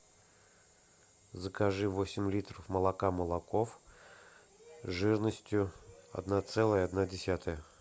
закажи восемь литров молока молоков жирностью одна целая одна десятая